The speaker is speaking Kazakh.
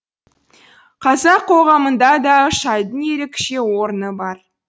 қазақ қоғамында да шайдың ерекше орны бар